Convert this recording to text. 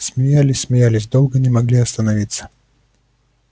смеялись смеялись долго не могли остановиться